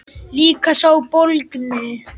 Líka sá bólgni.